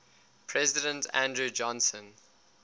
president andrew johnson